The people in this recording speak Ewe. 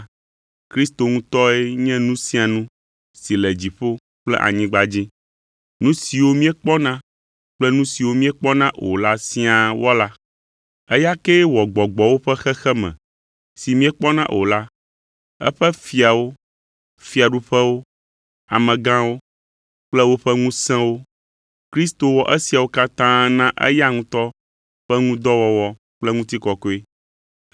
Kristo ŋutɔe nye nu sia nu si le dziƒo kple anyigba dzi, nu siwo míekpɔna kple nu siwo míekpɔna o la siaa wɔla. Eya kee wɔ gbɔgbɔwo ƒe xexeme si míekpɔna o la, eƒe fiawo, fiaɖuƒewo, amegãwo kple woƒe ŋusẽwo. Kristo wɔ esiawo katã na eya ŋutɔ ƒe ŋu dɔ wɔwɔ kple ŋutikɔkɔe.